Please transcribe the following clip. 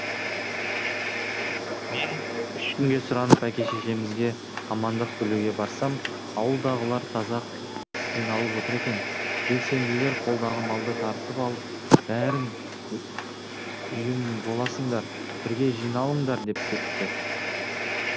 мен үш күнге сұранып әке шешемізге амандық білуге барсам ауылдағылар таза қиналып отыр екен белсенділер қолдағы малды тартып алып бәрің ұйым боласыңдар бірге жиналыңдар деп кетіпті